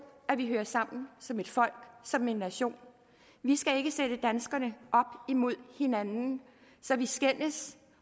at vi hører sammen som et folk som en nation vi skal ikke sætte danskerne op imod hinanden så vi skændes